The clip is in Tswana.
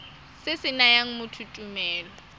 se se nayang motho tumelelo